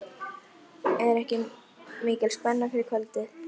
Þannig verður maður svo miklu sterkari gegn mótlæti en ella.